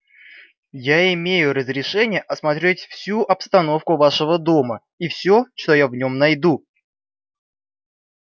я имею разрешение осмотреть всю обстановку вашего дома и все что я в нем найду